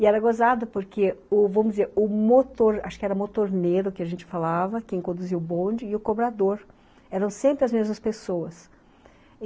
E era gozado porque, o vamos dizer o motor, acho que era motorneiro que a gente falava, quem conduziu o bonde, e o cobrador eram sempre as mesmas pessoas.